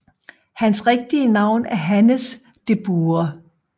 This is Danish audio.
Hans rigtige navn er Hannes De Buhre